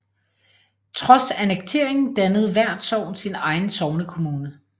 Trods annekteringen dannede hvert sogn sin egen sognekommune